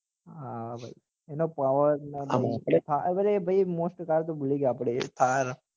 હા હા ભાઈ એનો power અરે ભાઈ મોસ્ટ કાર તો ભુલી અપડે thar